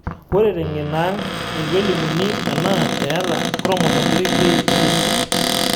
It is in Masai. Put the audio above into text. Ore teng'eno aang, eitu elimuni ena eeta Chromosome 3p syndrome .